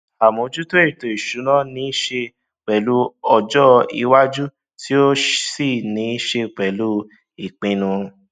àmójútó ètò ìsúná ní ṣe pèlú ọjọ iwájú tí ó sì ní ṣe pèlú ìpinnu